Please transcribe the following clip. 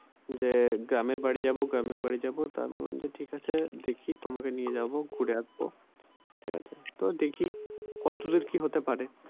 যে গ্রামের বাড়ি যাবো গ্রামের বাড়ি যাবো তা আমি বললাম যে ঠিক আছে দেখি তোমাকে নিয়ে যাবো ঘুরে আসবো ঠিক আছে তো দেখি কত দূর কি হতে পারে।